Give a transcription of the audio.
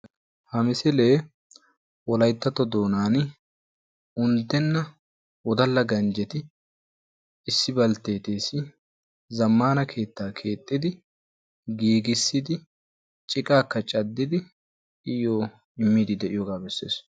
Ha mmisille wolaytttao doonan unddenna wodalla ganjjetti issi mishireessi keetta keexiddi ciqqakka caddiyooga besees.